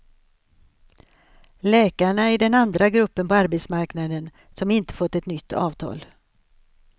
Läkarna är den andra gruppen på arbetsmarknaden som inte fått ett nytt avtal.